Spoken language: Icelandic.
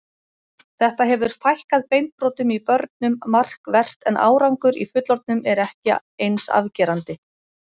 Þetta hefur fækkað beinbrotum í börnum markvert en árangur í fullorðnum er ekki eins afgerandi.